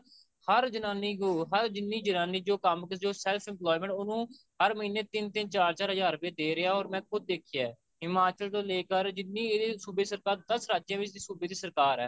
ਹਰ ਜਨਾਨੀ ਕੋਲ ਹਰ ਜਿੰਨੀ ਜਨਾਨੀ ਜੋ ਕੰਮ ਜਾ ਕਿਸੇ ਕੋਲ self employment ਉਹਨੂੰ ਹਰ ਮਹੀਨੇ ਤਿੰਨ ਤਿੰਨ ਚਾਰ ਚਾਰ ਹਜਾਰ ਰੂਪਏ ਦੇ ਰਿਹਾ or ਮੈਂ ਖੁਦ ਦੇਖਿਆ ਹਿਮਾਚਲ ਤੋ ਲੇਕੇ ਜਿੰਨੀ ਇਹਦੀ ਸੂਬੇ ਸਰਕਾਰ ਦੱਸ ਰਾਜੇ ਅ ਵਿੱਚ ਸੂਬੇ ਦੀ ਸਰਕਾਰ ਐ